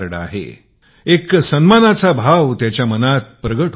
तो एक सम्मानित अनुभव करतो